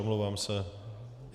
Omlouvám se.